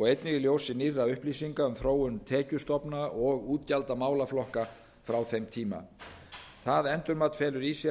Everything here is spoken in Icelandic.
og einnig í ljósi nýrra upplýsinga um þróun tekjustofna og útgjalda málaflokka frá þeim tíma það endurmat felur í sér